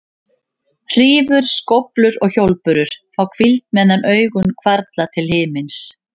Hrífur, skóflur og hjólbörur fá hvíld meðan augun hvarfla til himins.